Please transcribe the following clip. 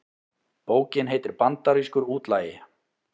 Bókin heitir Bandarískur útlagi